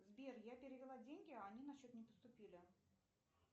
сбер я перевела деньги а они на счет не поступили